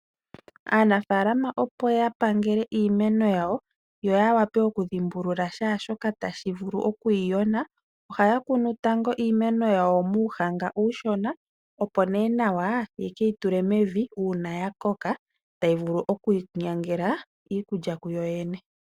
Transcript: Aanafaalama opo ya pangele iimeno yawo yo ya wape oku dhimbulula kehe shoka tashi vulu okuyi yona. Ohaya kunu tango iimeno yawo muunima uushona opo nee nawa yekeyi tule mevi uuna ya koka tayi vulu okwiinyangela iikulya kuyo yene.